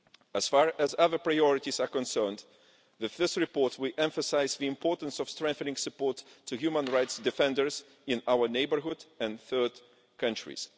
As far as other priorities are concerned, with this report we emphasise the importance of strengthening support to human rights defenders in our neighbourhood and third countries.